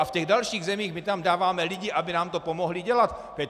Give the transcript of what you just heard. A v těch dalších zemích, my tam dáváme lidi, aby nám to pomohli dělat.